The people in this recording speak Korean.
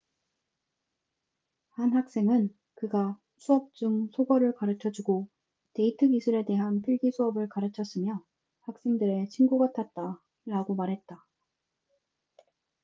한 학생은 그가 수업 중 속어를 가르쳐주고 데이트 기술에 대한 필기 수업을 가르쳤으며 학생들의 친구 같았다'라고 말했다